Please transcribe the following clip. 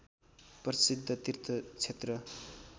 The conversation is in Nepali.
प्रसिद्ध तीर्थ क्षेत्र